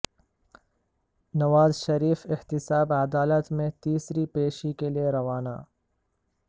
نواز شریف احتساب عدالت میں تیسری پیشی کے لیے روانہ